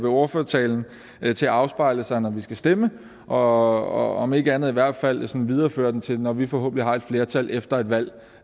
ordførertalen til at afspejle sig når vi skal stemme og om ikke andet så i hvert fald videreføre den til når vi forhåbentlig har et flertal efter et valg